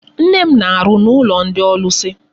Nne m na-arụ n'ụlọ ndị ọlụsị.